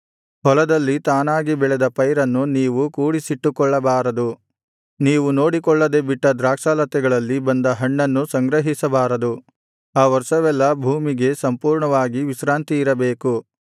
ಹೊಲದಲ್ಲಿ ತಾನಾಗಿ ಬೆಳೆದ ಪೈರನ್ನು ನೀವು ಕೂಡಿಸಿಟ್ಟುಕೊಳ್ಳಬಾರದು ನೀವು ನೋಡಿಕೊಳ್ಳದೆ ಬಿಟ್ಟ ದ್ರಾಕ್ಷಾಲತೆಗಳಲ್ಲಿ ಬಂದ ಹಣ್ಣನ್ನು ಸಂಗ್ರಹಿಸಬಾರದು ಆ ವರ್ಷವೆಲ್ಲಾ ಭೂಮಿಗೆ ಸಂಪೂರ್ಣವಾಗಿ ವಿಶ್ರಾಂತಿಯಿರಬೇಕು